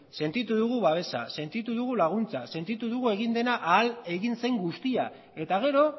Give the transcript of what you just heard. sentitu dugu babesa sentitu dugu laguntza sentitu dugu egin dela ahal egin zen guztia eta gero